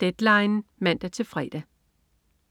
Deadline 17:00 (man-fre)